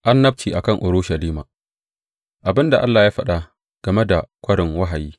Annabci a kan Urushalima Abin da Allah ya faɗa game da Kwarin Wahayi.